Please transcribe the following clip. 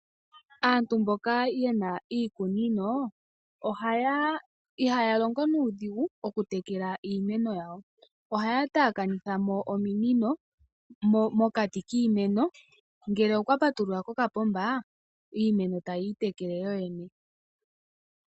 Aantu mboka ye na iikunino ihaya longo nuudhigu okutekela iimeno yawo. Ohaya taakanitha mo ominino mokati kiimeno, ngele okwa patulula kokapomba iimeno tayi itekele yoyene.